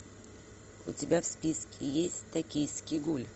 у тебя в списке есть токийский гуль